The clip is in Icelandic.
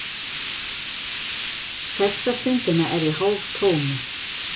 Þessa stundina er ég hálftómur.